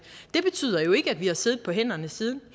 det betyder jo ikke at vi har siddet på hænderne siden